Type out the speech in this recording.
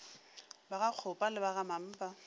ba gakgopa le ba gamampa